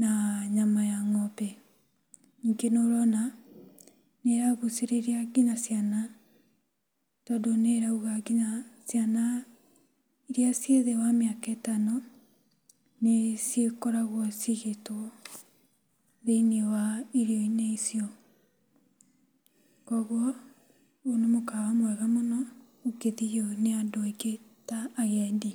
na nyama ya ng'ombe. Ningĩ nĩ ũrona nĩ ĩragucĩrĩria nginya ciana tondũ nĩ ĩrauga nginya ciana irĩa ciĩthĩ wa mĩaka ĩtano nĩ cikoragwo cigĩtwo thĩiniĩ wa irio-inĩ icio. Koguo ũyũ nĩ mũkawa mwega mũno ũngĩthio nĩ andũ aingĩ ta agendi.